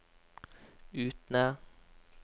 Utne